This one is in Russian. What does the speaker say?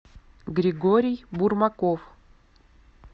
григорий бурмаков